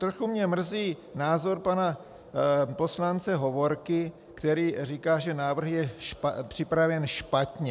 Trochu mě mrzí názor pana poslance Hovorky, který říká, že návrh je připraven špatně.